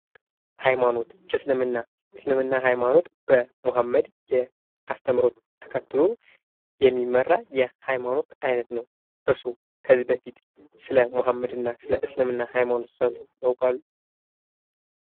ሀይማኖት ፦ እስልምና ፦ እስልምና ሀይማኖት በሙሀመድ አስተምሮ ተከትሎ የሚመራ የሀይማኖት አይነት ነው ። እርስዎ ከዚህ በፊት ስለ ሙሀመድ እና ስለእስልምና ሀይማኖት ሰምተው ያውቃሉ ?